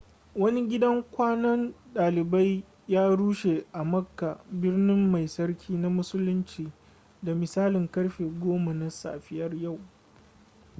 wani gidan kwanan dalibai ya rushe a makka birni mai tsarki na musulinci da misalin karfe 10 na safiyar yau